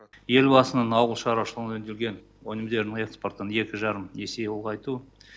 елбасының ауыл шаруашылығында өңделген өнімдердің экспортын екі жарым есе ұлғайту